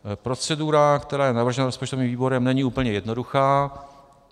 Procedura, která je navržena rozpočtovým výborem, není úplně jednoduchá.